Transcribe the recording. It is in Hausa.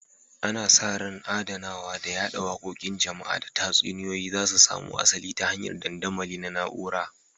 Ana sa ran adanawa da yada wakokin jama'a da tatsuniyoyi za su samo asali ta hanyar dandamali na na'ura